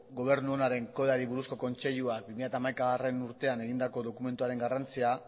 gobernu onaren kodeari buruzko kontseiluan bi mila hamaikagarrena urtean egindako dokumentuaren garrantzia